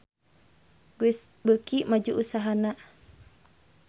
Guess beuki maju usahana